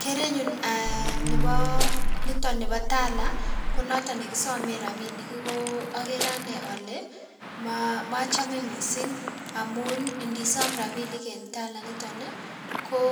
Kerenyun um nebo niton nebo Tala konoton nekisomen rabinik ko okere ane ole mochome missing' amun ndisom rabinik en Tala initon ii ko